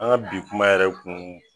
An ga bi kuma yɛrɛ kun